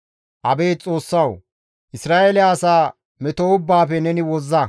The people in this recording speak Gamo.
Abeet Xoossawu! Isra7eele asa meto ubbaafe neni wozza.